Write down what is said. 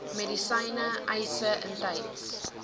medisyne eise intyds